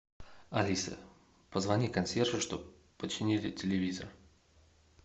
алиса позвони консьержу чтобы починили телевизор